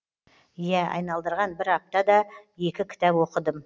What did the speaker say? ия айналдырған бір апта да екі кітап оқыдым